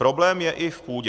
Problém je i v půdě.